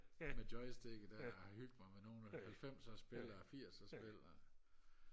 med joystikket der og hygge mig med nogle af de halvfemser spil og firser spil og